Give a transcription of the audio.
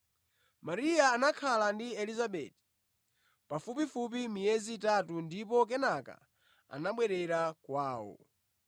Mariya anakhala ndi Elizabeti pafupifupi miyezi itatu ndipo kenaka anabwerera kwawo.